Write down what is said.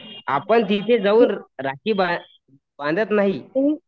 आपण तिथे जाऊन राखी बांधत नाहीत